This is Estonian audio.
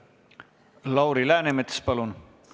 Lauri Läänemets, palun!